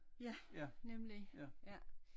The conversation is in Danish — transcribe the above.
Ja nemlig ja